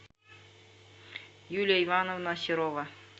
юлия ивановна серова